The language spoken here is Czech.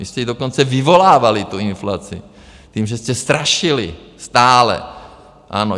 Vy jste i dokonce vyvolávali tu inflaci tím, že jste strašili, stále, ano.